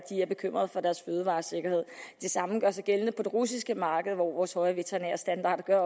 er bekymrede for deres fødevaresikkerhed det samme gør sig gældende på det russiske marked hvor vores høje veterinærstandarder gør at